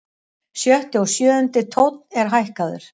Sjötti og sjöundi tónn er hækkaður.